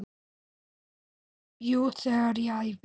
Jú, þegar ég æfi.